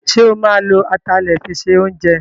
Sọ ma lo atalẹ̀ fi se oúnjẹ?